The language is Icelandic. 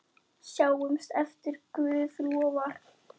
Sjáumst ef Guð lofar.